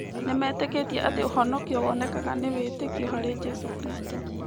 Nĩmetĩkĩtie atĩ ũhonokio wonekaga nĩ wĩtĩkio harĩ Jesũ Kristo.